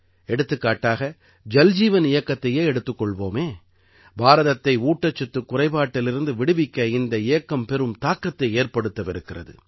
எடுத்துக்காட்டாக ஜல்ஜீவன் இயக்கத்தையே எடுத்துக் கொள்வோமே பாரதத்தை ஊட்டச்சத்துக் குறைபாட்டிலிருந்து விடுவிக்க இந்த இயக்கம் பெரும் தாக்கத்தை ஏற்படுத்தவிருக்கிறது